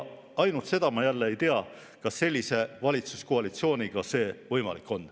Ainult et seda ma jälle ei tea, kas sellise valitsuskoalitsiooniga on see võimalik.